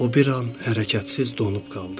O bir an hərəkətsiz donub qaldı.